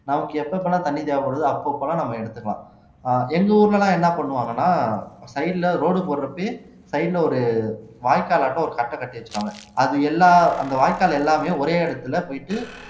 நமக்கு எப்ப எப்ப எல்லாம் தண்ணி தேவைப்படுதோ அப்பப்ப எல்லாம் நம்ம எடுத்துக்கலாம் எங்க ஊர்ல எல்லாம் என்ன பண்ணுவாங்கன்னா side ல road போடுறப்பயே side ல ஒரு வாய்க்கால்ட்ட ஒரு கட்டை கட்டி வச்சிருவாங்க அது எல்லா அந்த வாய்க்கால் எல்லாமே ஒரே இடத்துல போயிட்டு